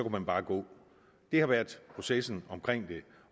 man bare gå det har været processen omkring det